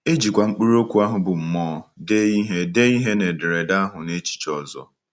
E jikwa mkpụrụ okwu ahụ bụ́ “ mmụọ ” dee ihe dee ihe na ederede ahụ n’echiche ọzọ.